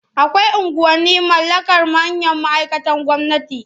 Akwai unguwanni mallakar manyan ma'aikatan gwamnati.